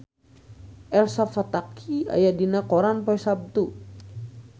Elsa Pataky aya dina koran poe Saptu